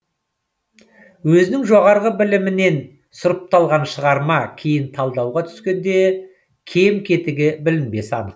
өзінің жоғары білімінен сұрыпталған шығарма кейін талдауға түскенде кем кетігі білінбесі анық